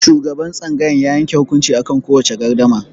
Shugaban tsangayar ya yanke hukunci akan kowace gardama.